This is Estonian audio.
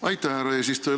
Aitäh, härra eesistuja!